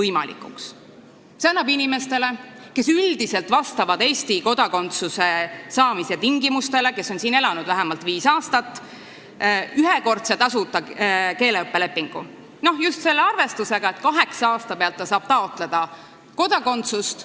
See annab inimesele, kes üldiselt vastab Eesti kodakondsuse saamise tingimustele, kes on siin elanud vähemalt viis aastat, ühekordse tasuta keeleõppe lepingu – just selle arvestusega, et kaheksandal aastal ta saab taotleda kodakondsust.